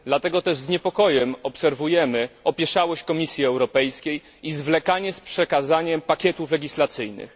Dlatego też z niepokojem obserwujemy opieszałość Komisji Europejskiej i zwlekanie z przekazaniem pakietów legislacyjnych.